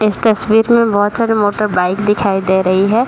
इस तस्वीर में बहुत सारे मोटरबाइक दिखाई दे रही है।